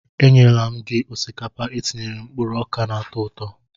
E nyela m gị osikapa etinyere mkpụrụ oka na-atọ ụtọ.